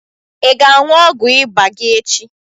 I ga-aṅụ ọgwụ ịba gị echi?